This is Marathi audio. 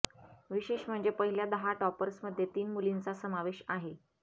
विशेष म्हणजे पहिल्या दहा टॉपर्समध्ये तीन मुलींचा समावेश आहे